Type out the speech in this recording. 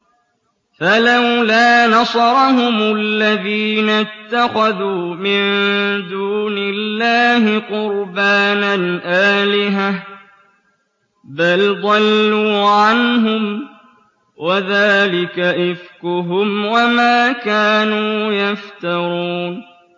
فَلَوْلَا نَصَرَهُمُ الَّذِينَ اتَّخَذُوا مِن دُونِ اللَّهِ قُرْبَانًا آلِهَةً ۖ بَلْ ضَلُّوا عَنْهُمْ ۚ وَذَٰلِكَ إِفْكُهُمْ وَمَا كَانُوا يَفْتَرُونَ